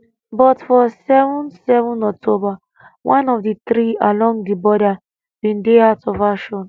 but for 7 7 october one of di three along di border bin dey out of action